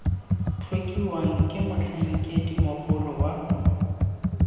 tlhokiwang ke motlhankedi mogolo wa